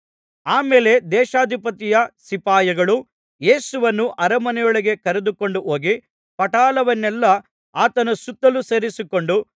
ಆ ಮೇಲೆ ದೇಶಾಧಿಪತಿಯ ಸಿಪಾಯಿಗಳು ಯೇಸುವನ್ನು ಅರಮನೆಯೊಳಗೆ ಕರೆದುಕೊಂಡು ಹೋಗಿ ಪಟಾಲವನ್ನೆಲ್ಲಾ ಆತನ ಸುತ್ತಲೂ ಸೇರಿಸಿಕೊಂಡು